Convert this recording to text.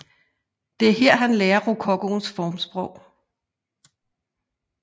Det er her han lærer rokokoens formsprog